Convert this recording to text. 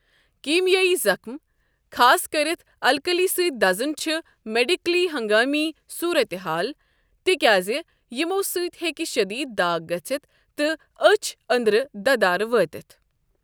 كیمیٲیی زخم، خاص كٔرِتھ الكلی سٕتۍ دزُن چھ میڈكلی ہنگٲمی صورت حال ، تہِ كیازِ یمو سٕتۍ ہیٚکہ شدید داغ گٔژھِتھ تہٕ اچھِ انٕدرٕ ددارٕ وٲتِتھ۔